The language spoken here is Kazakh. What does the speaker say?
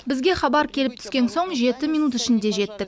бізге хабар келіп түскен соң жеті минут ішінде жеттік